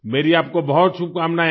मेरी आपको बहुत शुभकामनाएँ है